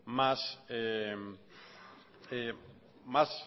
más